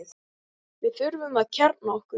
Við þurfum að kjarna okkur